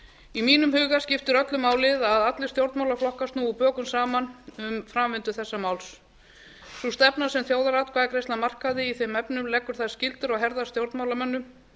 í mínum huga skiptir öllu máli að allir stjórnmálaflokkar snúi bökum saman um framvindu þessa máls sú stefna sem þjóðaratkvæðagreiðslan markaði í þeim efnum leggur þær skyldur á herðar stjórnmálamönnum